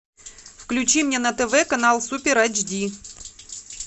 включи мне на тв канал супер эйч ди